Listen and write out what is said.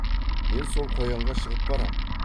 мен сол қоянға шығып барам